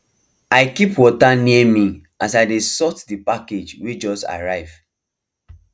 i keep water near me as i dey sort the package wey just arrive